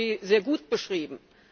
Sie haben sie sehr gut beschrieben.